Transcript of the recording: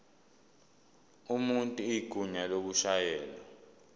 umuntu igunya lokushayela